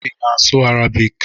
Ị na-asụ Arabic?